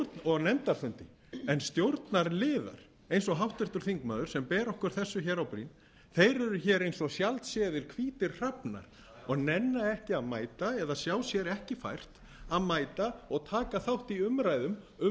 og nefndarfundi en stjórnarliðar eins og háttvirtur þingmaður sem ber okkur þessu á brýn eru eins og sjaldséðir hvítir hrafnar og nenna ekki að mæta eða sjá sér ekki fært að mæta og taka þátt i umræðum um umdeild